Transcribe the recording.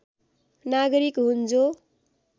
नागरिक हुन् जो